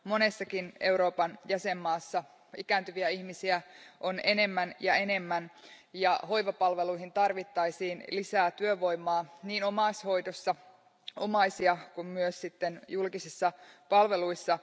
Monessakin Euroopan jäsenmaassa ikääntyviä ihmisiä on enemmän ja enemmän ja hoivapalveluihin tarvittaisiin lisää työvoimaa niin omaishoidossa omaisia kuin myös julkisissa palveluissa.